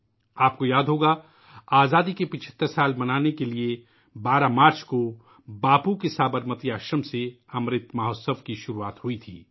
آپ کو یاد ہوگا ، آزادی کے 75 سال منانے کے لئے ،'' امرت مہوتسو '' کا آغاز 12 مارچ کو باپو کے سابرمتی آشرم سے ہوا تھا